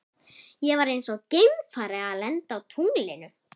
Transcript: Ég var eins og geimfari að lenda á tunglinu.